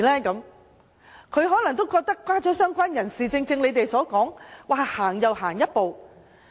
他們可能覺得加入"相關人士"是踏前了一步。